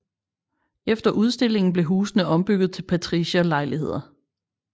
Efter udstillingen blev husene ombygget til patricierlejligheder